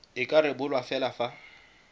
e ka rebolwa fela fa